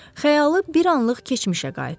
Xəyalı bir anlıq keçmişə qayıtdı.